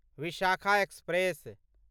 Vishakha express